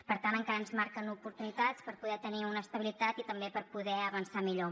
per tant encara ens manquen oportunitats per poder tenir una estabilitat i també per poder avançar millor